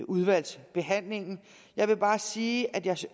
udvalgsbehandlingen jeg vil bare sige at jeg